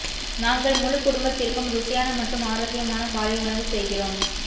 நாங்கள் முழு குடும்பத்திற்கும் ருசியான மற்றும் ஆரோக்கியமான காலை உணவு செய்கிறோம்